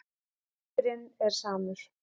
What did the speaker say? Endirinn er samur.